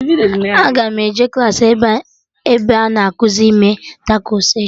Aga m eje klaasị ebe a na-ekuzi ime takos echi